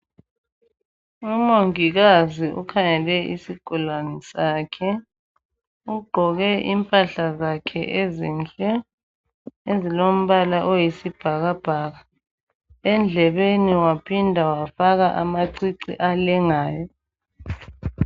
Umongikazi ukhangele isigulane sakhe ugqoke impahla zakhe ezinhle ezilombala oyisibhaka bhaka endlebeni waphinda wafaka amacici alengayo.